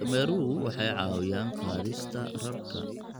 Dameeruhu waxay caawiyaan qaadista rarka.